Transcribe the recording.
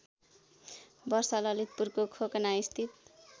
वर्ष ललितपुरको खोकनास्थित